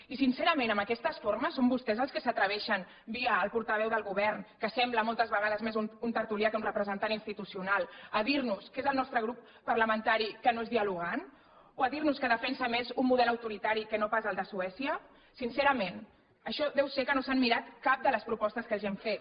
i sincerament amb aquestes formes són vostès els que s’atreveixen via el portaveu del govern que sembla moltes vegades més un tertulià que un representant institucional a dir nos que és el nostre grup parlamentari que no és dialogant o a dir nos que defensa més un model autoritari que no pas el de suècia sincerament això deu ser que no s’han mirat cap de les propostes que els hem fet